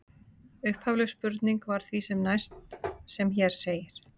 Upphafleg spurning var því sem næst sem hér segir: